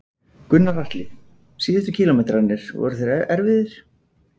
Gunnar Atli: Síðustu kílómetrarnir, voru þeir erfiðir?